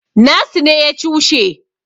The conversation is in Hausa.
nasu ne ya cushe